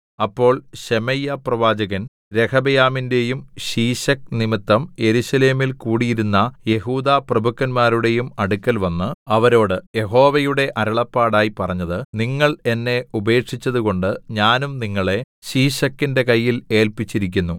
അപ്പോൾ ശെമയ്യാപ്രവാചകൻ രെഹബെയാമിന്റെയും ശീശക്ക് നിമിത്തം യെരൂശലേമിൽ കൂടിയിരുന്ന യെഹൂദാപ്രഭുക്കന്മാരുടെയും അടുക്കൽവന്ന് അവരോട് യഹോവയുടെ അരുളപ്പാടായി പറഞ്ഞത് നിങ്ങൾ എന്നെ ഉപേക്ഷിച്ചതുകൊണ്ട് ഞാനും നിങ്ങളെ ശീശക്കിന്റെ കയ്യിൽ ഏല്പിച്ചിരിക്കുന്നു